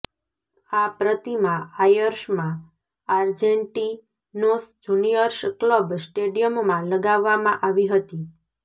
આ પ્રતિમા આયર્સમાં આર્જેટીનોસ જૂનિયર્સ ક્લબ સ્ટેડિયમમાં લગાવવામાં આવી હતી